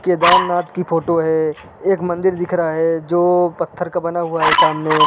केदारनाथ की फोटो है एक मंदिर दिख रहा है जो पत्थर का बना हुआ है सामने।